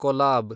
collab